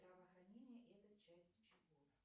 здравоохранение это часть чего